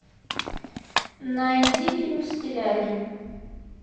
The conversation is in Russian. найди фильм стиляги